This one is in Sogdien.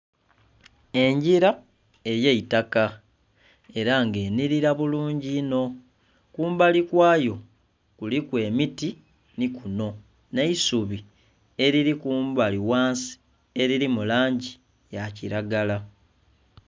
Engila ey'eitaka, ela nga enhilila bulungi inho. Kumbali kwayo kuliku emiti nhi kuno, nh'eisubi elili kumbali ghansi elili mu langi ya kilagala.